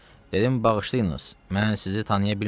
Dedim bağışlayınız, mən sizi tanıya bilmirəm.